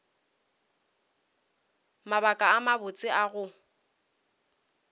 mabaka a mabotse a go